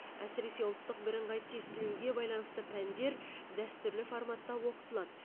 әсіресе ұлттық бірыңғай тестілеуге байланысты пәндер дәстүрлі форматта оқытылады